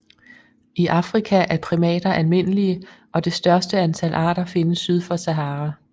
I Afrika er primater almindelige og det største antal arter findes syd for Sahara